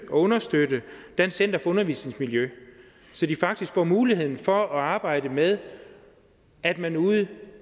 understøtte dansk center for undervisningsmiljø så de faktisk får muligheden for at arbejde med at man ude